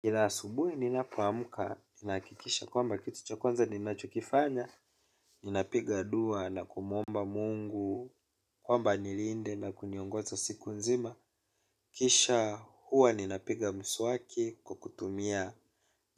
Kila asubuhi ninapuamka, ninakikisha kwamba kitu cha kwanza ninachokifanya, ninapiga dua na kumomba Mungu, kwamba nilinde na kuniongoza siku nzima. Kisha huwa ninapiga mswaki kwa kutumia